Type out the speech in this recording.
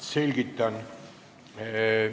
Selgitan.